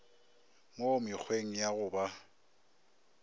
mo mekgweng ya go ba